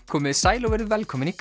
komiði sæl og verið velkomin í